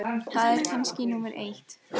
Það er kannski númer eitt.